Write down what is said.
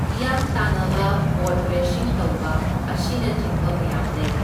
ꯍꯤꯌꯥꯡ ꯇꯥꯟꯅꯕ boat racing ꯇꯧꯕ ꯑꯁꯤꯅꯆꯤꯡꯕ ꯃꯌꯥꯝ ꯂꯩ,